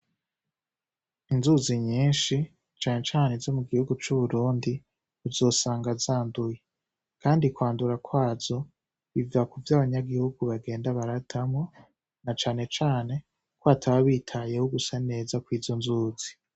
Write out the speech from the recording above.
Inzuzi nyinshi cane cane izo mu gihugu c'Uburundi, uzosanga zanduye kandi kwandura kwazo biva kuvyo abanyagihugu bagenda baratamwo, na cane cane ko bataba bitayeho gusa neza kw'izo nzuzi.